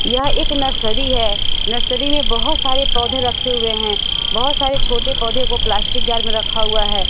यह एक नर्सरी है नर्सरी में बहोत सारे पौधे रखे हुए हैं बहोत सारे छोटे पौधे को प्लास्टिक जार में रखा हुआ है।